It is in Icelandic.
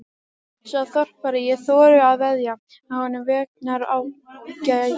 Sá þorpari: ég þori að veðja að honum vegnar ágætlega.